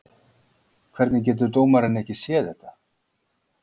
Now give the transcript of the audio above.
Hvernig getur dómarinn ekki séð þetta?